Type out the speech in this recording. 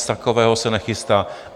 Nic takového se nechystá.